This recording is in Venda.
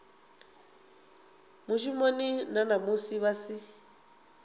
mushumoni na musi vha si